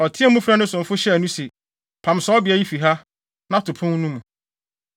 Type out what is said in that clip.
Ɔteɛɛ mu frɛɛ ne somfo hyɛɛ no se, “Pam saa ɔbea yi fi ha, na to pon no mu!”